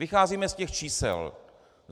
Vycházíme z těch čísel.